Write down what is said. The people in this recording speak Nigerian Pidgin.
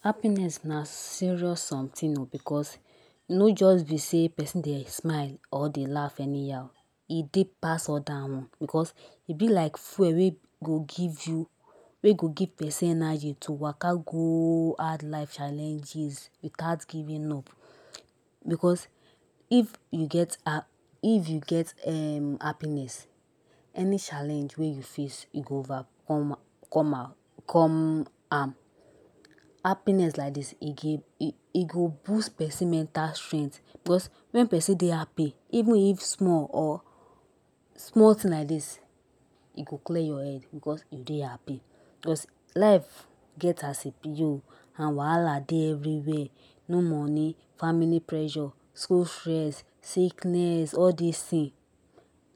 Happiness na serious Something oh because e no just be say person dey smile or dey laugh anyhow e deep pass all that one because e be like fuel wey go give you we go give person idea to waka go hard life challenges without giving up because if you get it you get um happiness any challenge wey you face you go overcome come am come am happiness like this e go boost person mental strength because wen person dey happy even if small or small thing like this e go clear your head because you dey happy because life gets as e be oh and wahala dey everywhere no money family pressure school fees sickness all things